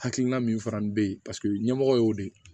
Hakilina min fana bɛ yen paseke ɲɛmɔgɔ y'o de ye